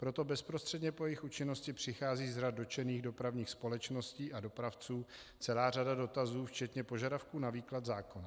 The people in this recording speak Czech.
Proto bezprostředně po jejich účinnosti přichází z řad dotčených dopravních společností a dopravců celá řada dotazů, včetně požadavků na výklad zákonů.